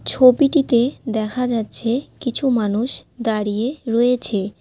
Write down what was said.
ছবিটিতে দেখা যাচ্ছে কিছু মানুষ দাঁড়িয়ে রয়েছে।